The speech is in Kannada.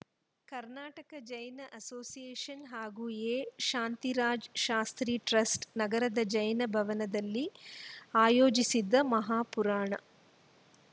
ಕರ್ನಾಟಕ ಜೈನ ಅಸೋಸಿಯೇಷನ್‌ ಹಾಗೂ ಎಶಾಂತಿರಾಜ ಶಾಸ್ತ್ರಿ ಟ್ರಸ್ಟ‌ ನಗರದ ಜೈನ ಭವನದಲ್ಲಿ ಆಯೋಜಿಸಿದ್ದ ಮಹಾಪುರಾಣ